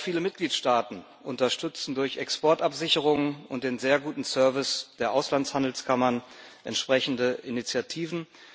Auch viele Mitgliedstaaten unterstützen durch Exportabsicherung und den sehr guten Service der Auslandshandelskammern entsprechende Initiativen.